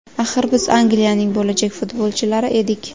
Axir biz Angliyaning bo‘lajak futbolchilari edik.